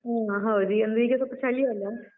ಹ್ಮ್ಮ್ ಹೌದು ಅಂದ್ರೆ ಈಗ ಸ್ವಲ್ಪ ಚಳಿ ಅಲ್ಲಾ.